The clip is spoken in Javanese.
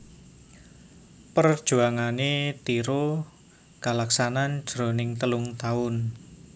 Parjuanganné Tiro kalaksanan jroning telung taun